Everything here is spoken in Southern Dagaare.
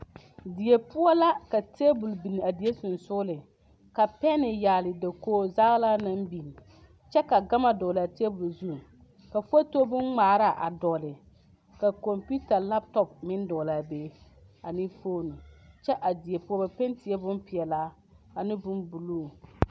Die poɔ la ka tabol biŋ a die sɔgsɔgliŋ ka pɛnne yagle dakoge zaglaa naŋ biŋ kyɛ ka gama dɔgle a tabol zu ka foto boŋ ŋmaaraa a dɔgle ka kompiota laptɔp meŋ dɔgle a be ane fone kyɛ a die poɔ ba pente la boŋ peɛlaa ane boŋ buluu.